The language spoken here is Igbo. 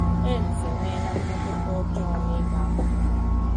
AIDS enweela mmetụta ọjọọ n’ịga akwụkwọ.